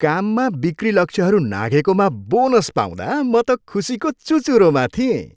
काममा बिक्री लक्ष्यहरू नाघेकोमा बोनस पाउँदा म त खुसीको चुचुरोमा थिएँ।